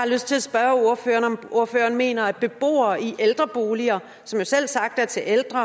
lyst til at spørge ordføreren om ordføreren mener at beboere i ældreboliger som jo selvsagt er til ældre